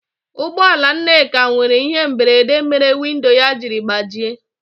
Ụgbọ ala Nneka nwere ihe mberede mere windo ya jiri gbajie.